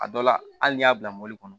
A dɔ la hali n'i y'a bila mɔbili kɔnɔ